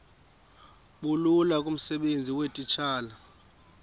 bulula kumsebenzi weetitshala